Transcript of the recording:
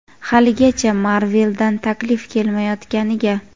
haligacha Marvel dan taklif kelmayotganiga.